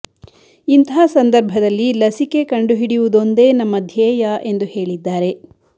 ಇಂತಹ ಸಂದರ್ಭದಲ್ಲಿ ಲಸಿಕೆ ಕಂಡು ಹಿಡಿಯುವುದೊಂದೇ ನಮ್ಮ ಧ್ಯೇಯ ಎಂದು ಹೇಳಿದ್ದಾರೆ